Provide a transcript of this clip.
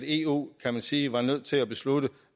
eu kan man sige var nødt til at beslutte